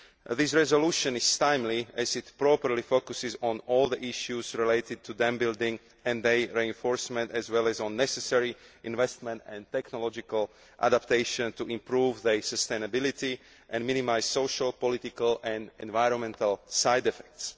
This resolution is timely as it properly focuses on all the issues related to dam building and their reinforcement, as well as on the necessary investment and technological adaptation to improve sustainability and minimise social, political and environmental side effects.